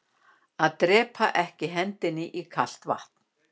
Að drepaa ekki hendinni í kalt vatn